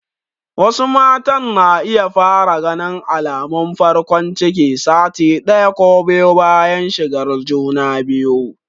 Wasu matan na iya fara ganin alamun farkon ciki sati ɗaya ko biyu bayan shigar juna biyu.